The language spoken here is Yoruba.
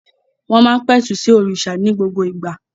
Wọ́n má ń pẹ̀tù sí òrìṣà ní gbogbo ìgbà